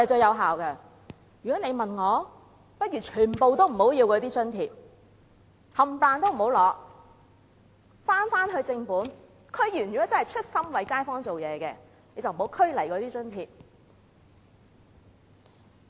如果問我，我認為倒不如全部津貼都不要，區議員如果真的是出心為街坊做事，便不要拘泥那些津貼。